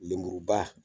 Lemuruba